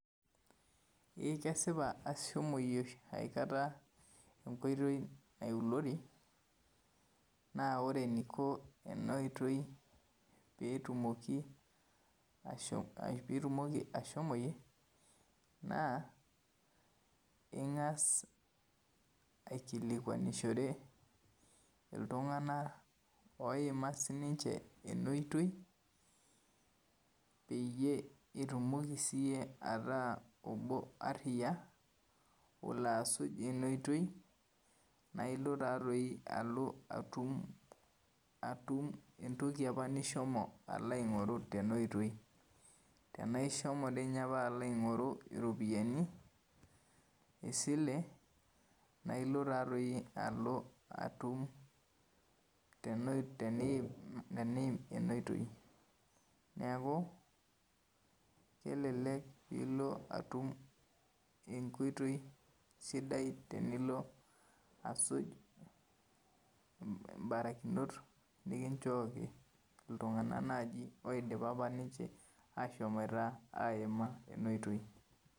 E kesipa ashomoyie aikata enkoitoi nailori na ore eniko enaoitoi petumoki ashomoyie na ingas aikilikwanishore ltunganak oima sininche ina oitoi peitumoki sinye iyie ata obo ariya olo arip inaoitoi nailo taatoi alo atumbentoki apa nishomo aingoru tenaoitoi tanashimo apa alo aingoru ropiyani esile na ilobtaatoi alo atum tenim enaaotoii neaku kelelek ilo atum enkoitoi sidia tenillo asuj mbarikinot nikinchooki ltunganak apa loidipa aima kuna oitoi.